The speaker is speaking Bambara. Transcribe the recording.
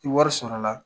Ni wari sɔrɔla